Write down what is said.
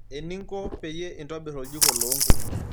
Eninko peyie intobir oljiko loonkuk.